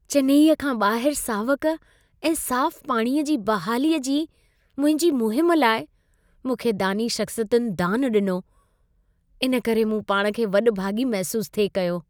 चेन्नईअ खां ॿाहिरि सावक ऐं साफ़ु पाणीअ जी बहालीअ जी मुंहिंजी मुहिम लाइ मूंखे दानी शख़्सियतुनि दानु ॾिनो। इन करे मूं पाण खे वॾभागी महसूसु थिए कयो।